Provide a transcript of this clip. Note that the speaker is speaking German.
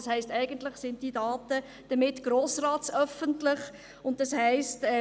Denn das heisst eigentlich, diese Daten sind damit «grossratsöffentlich», und das heisst: